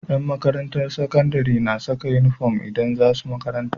Yan makarantar sakandari na Saka inufom idan zasu makaranta